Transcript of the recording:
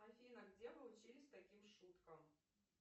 афина где вы учились таким шуткам